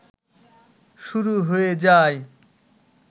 শুরু হয়ে যায়